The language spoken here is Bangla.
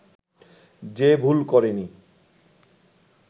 যে ভুল করেনি